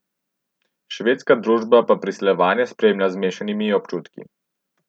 Švedska družba pa priseljevanje spremlja z mešanimi občutki.